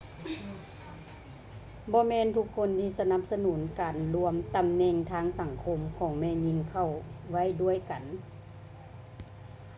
ບໍ່ແມ່ນທຸກຄົນທີ່ສະໜັບສະໜູນການລວມຕຳແໜ່ງທາງສັງຄົມຂອງແມ່ຍິງເຂົ້າໄວ້ດ້ວຍກັນ